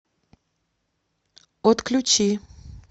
отключи